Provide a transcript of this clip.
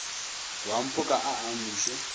wa mphoka a a amuše